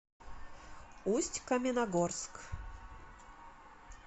усть каменогорск